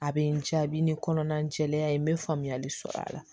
A bɛ n diya a bɛ ni kɔnɔna jɛlenya ye n bɛ faamuyali sɔrɔ a la